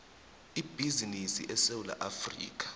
ibhizinisi esewula afrika